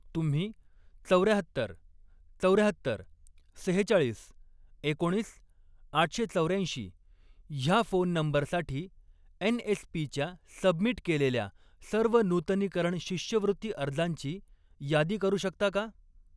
तुम्ही चौर्याहत्तर, चौर्याहत्तर, सेहेचाळीस, एकोणीस आठशे चौर्याऐंशी ह्या फोन नंबरसाठी एन.एस.पी.च्या सबमिट केलेल्या सर्व नूतनीकरण शिष्यवृत्ती अर्जांची यादी करू शकता का?